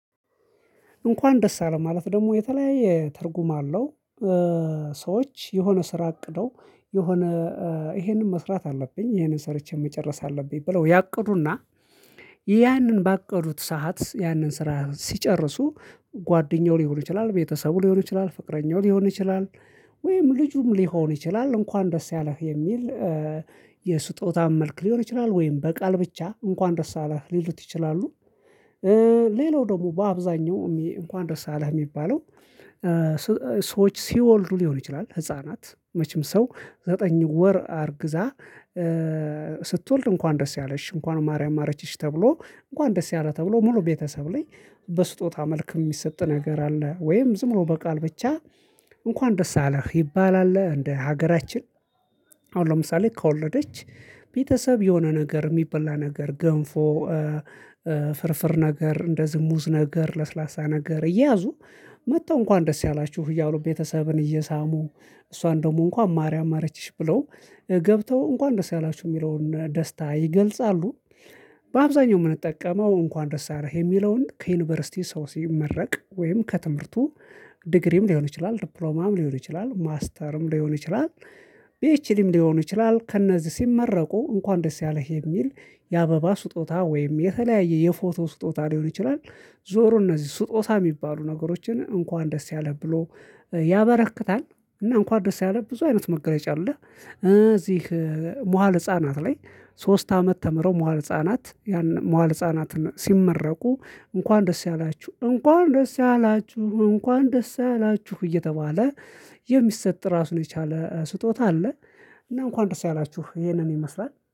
እንኳን ደስ አለህ ማለት ደግሞ የተለያየ ትርጉም አለው። ሰዎች የሆነ ስራ አቅደው የሆነ ይሄንን መስራት አለብኝ ይሄንን ሰርቼ መጨረስ አለብኝ ብለው ያቅዱና ያንን ባቀዱት ሰዓት ያንን ስራ ሲጨርሱ ጓደኛው ሊሆን ይችላል ቤተሰቡ ሊሆን ይችላል ፍቅረኛው ሊሆን ይችላል ወይም ልጁም ሊሆን ይችላል እንኳን ደስ ያለህ የሚል የስጦታም መልክ ሊሆን ይችላል ወይም በቃል ብቻ እንኳን ደስ አላህ ሊሉት ይችላሉ። ሌላው ደግሞ በአብዛኛው እንኳን ደርሰሃል የሚባለው ሰዎች ሲወልዱ ሊሆን ይችላል ህፃናት መቼም ሰው ዘጠኝ ወር አርግዛ ስትወልድ እንኳን ደስ ያለሽ እንኳን ማርያም ማረችሽ ተብሎ እንኳን ደስ ያለህ ተብሎ ሙሉ ቤተሰብ ላይ በስጦታ መልክ የሚሰጥ ነገር አለ ወይም ዝም ብሎ በቃል ብቻ እንኳን ደስ አለህ ይባላል። እንደ ሀገራችን አሁን ለምሳሌ ከወለደች ቤተሰብ የሆነ ነገር የሚበላ ነገር ገንፎ ፍርፍር ነገር እንደዚህ ሙዝ ነገር ለስላሳ ነገር እያዙ መጥተው እንኳን ደስ ያላችሁ እያሉ ቤተሰብን እየሳሙ እሷን ደግሞ እንኳን ማርያም ማረችሽ ብለው ገብተው እንኳን ደስ ያላችሁ የሚለውን ደስታ ይገልጻሉ። በአብዛኛው የምንጠቀመው እንኳን ደስ አለህ የሚለውን ከዩኒቨርሲቲ ሰው ሲመረቅ ወይም ከትምህርቱ ዲግሪም ሊሆን ይችላል ዲፕሎማም ሊሆን ይችላል ማስተርም ሊሆን ይችላል ፒኤችዲም ሊሆን ይችላል ከእነዚህ ሲመረቁ እንኳን ደስ ያለህ የሚል የአበባ ስጦታ ወይም የተለያየ የፎቶ ስጦታ ሊሆን ይችላል። ዞሮ እነዚህ ስጦታ የሚባሉ ነገሮችን እንኳን ደስ ያለህ ብሎ ያበረክታል። እና እንኳን ደስ ያለህ ብዙ አይነት መገረጫ አለህ። እዚህ መዋለ ህፃናት ላይ ሶስት አመት ተምረው መዋል ህፃናት ያን መዋል ህፃናት ሲመረቁ እንኳን ደስ ያላችሁ እንኳን ደስ ያላችሁ እንኳን ደስ ያላችሁ እየተባለ የሚሰጥ ራሱን የቻለ ስጦታ አለ። እና እንኳን ድረስ ያላችሁ ይሄንን ይመስላል